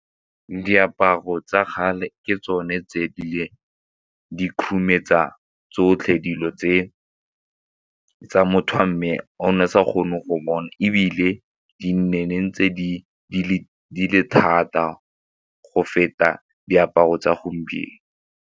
Diaparo tsa kgale ke tsone tse di khurumetsa tsotlhe dilo tse motho wa mme o ne sa kgone go bona ebile di nne ntse di le thata go feta diaparo tsa gompieno.